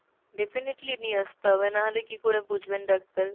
definitely নিয় আসতে হবে, না হলে কি করে বুঝবেন ডাক্তার ?